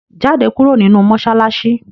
Jáde kúrò nínú mọ́ṣáláṣí!